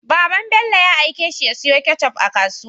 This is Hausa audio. Baban Bello ya aike shi ya siyo ketchup a kasuwa